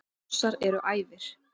Rússar eru æfir.